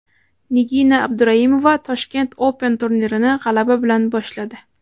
Nigina Abduraimova Tashkent Open turnirini g‘alaba bilan boshladi.